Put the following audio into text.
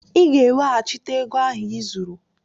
Ị ga-eweghachite ego ahụ i zuru!